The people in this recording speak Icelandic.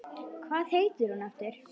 Hvað heitir hún aftur?